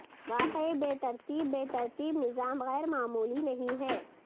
واقعی بے ترتیب بے ترتیب نظام غیر معمولی نہیں ہیں